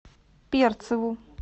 перцеву